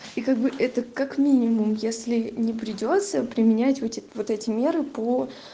и как бы это как минимум если не придётся применять вот эти меры по